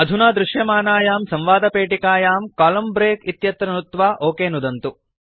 अधुना दृश्यमानायां संवादपेटिकायां कोलम्न ब्रेक इत्यत्र नुत्वा ओक नुदन्तु